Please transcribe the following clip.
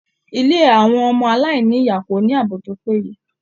Ilé àwọn ọmọ-aláìní-ìyá ò ní ààbò tó péye.